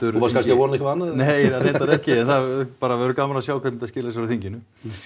þú varst kannski að vona eitthvað annað nei reyndar ekki en það verður bara gaman að sjá hvernig skilar sér á þinginu